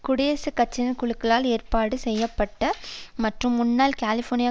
குடியரசுக் கட்சியினர் குழுக்களால் ஏற்பாடு செய்ய பட்ட மற்றும் முன்னாள் கலிபோர்னியா